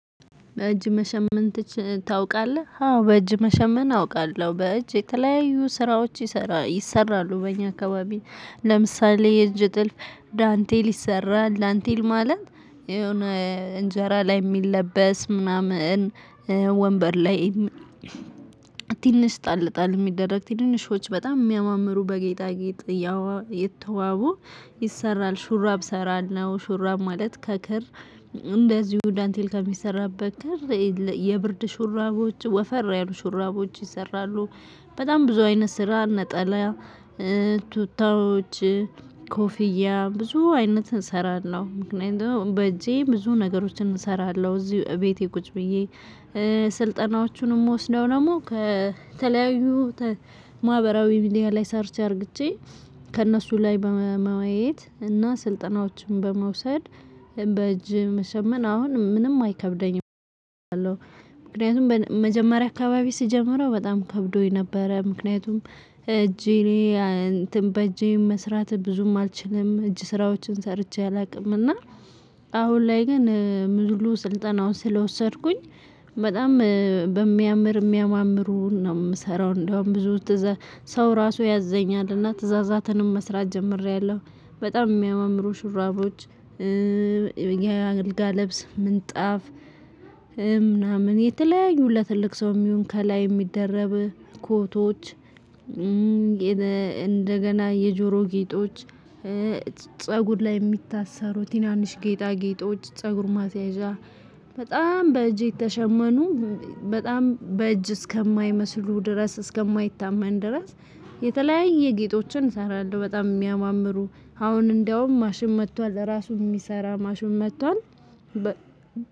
በእጅ መሸመን ታዉቃለህ አዎ በእጅ መሸመን አውቃለሁ በእጅ የተለያዩ ስራዎች ይሰራሉ በእኛ አካባቢ ለምሳሌ የእጅ ጥልፍ ዳንቴል ይሰራል ዳንቴል ማለት የሆነ እንጄራ ላይ የሚለበስ ምናምን ወንበር ላይ ትንሽ ጣልጣል የሚደረግ ትንንሾች በጣም የሚያማምሩ በጌጣጌጥ ያዋ የተዋቡ ይሰራል ሹራብ አሰራለው ሹራብ ማለት ከክር እንደዚሁ ዳንቴል ከሚሰራበት ክር የብርድ ሹራቦች ወፈር ያሉ ሹራቦች ይሰራሉ። በጣም ብዙ አይነት ስራ ነጠላ ቱታዎች ኮፍያ ብዙ አይነት እሰራለው ምክንያቱም በእጄ ብዙ ነገሮችን እሰራለው እዚህ ቤቴ ቁጭ ብዬ ስልጠናዎቹንም ምወስደው ደግሞ ከተለያዩ ማህበራዊ ሚዲያ ላይ ሰርች አርግቼ ከእነሱ ላይ በማየት እና ስልጠናዎችን በመውሰድ በእጅ መሸመን አሁን ምንም አይከብደኝም እለሁ መጀመሪያ አካባቢ ስጀምረው በጣም ከብዶኝ ነበረ ምክንያቱም እጄ እኔ እንትን በእጄ መስራት ብዙም አልችልም እጅ ስራዎችን ሰርቼ አላውቅም እና አሁን ላይ ግን ሙሉ ስልጠናውን ስለወሰድኩኝ በጣም በሚያምር የሚያማምሩ ነው የምሰራው እንደውም ብዙ ሰው ራሱ ያዘኛልና ትእዛዛትንም መስራት ጀምሬያለው። በጣም የሚያማምሩ ሽራቦች የአገልጋ ለብስ ምንጣፍ ምናምን የተለያዩ ለትልቅ ሰውም የምሆን ከላይ የሚደረብ ኮቶች እንደገና የጆሮ ጌጦች ፀጉር ላይ የሚታሰሩ ትናንሽ ጌጣ ጌጦች ፀጉር ማሰያዣ በጣም በእጅ የተሸመኑ በጣም በእጅ እስከማይመስሉ ድረስ እስከማይታመን ድረስ የተለያየ ጌጦችን እሰራለው በጣም የሚያማምሩ አሁን እንደውም ማሽን መጥቷል ለራሱ የሚሰራ ማሽን መጥቷል።